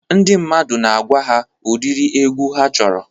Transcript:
Ndị mmadụ na-agwa ha ụdiri egwu ha chọrọ.